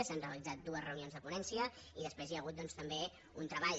s’han realitzat dues reunions de ponència i després hi ha hagut doncs també un treball